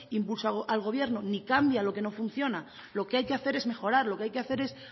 impulsar al gobierno ni cambia lo que no funciona lo que hay que hacer es mejorar lo que hay que hacer es